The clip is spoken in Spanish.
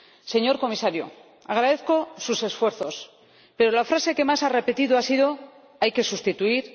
Señor Comisario, agradezco sus esfuerzos, pero las frases que más ha repetido han sido hay que sustituir...,